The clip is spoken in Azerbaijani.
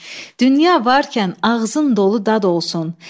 Dünya varkən ağzın dolu dad olsun.